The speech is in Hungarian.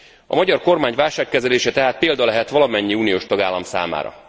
A magyar kormány válságkezelése tehát példa lehet valamennyi uniós tagállam számára.